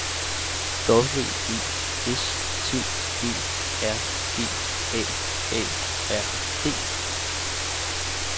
W E S T E R G A A R D